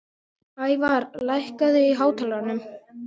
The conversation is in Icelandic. Og nú mundi jafnvel hún gleymast, gleymskan sjálf.